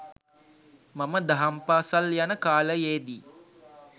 මම දහම් පාසල් යන කාලයේදී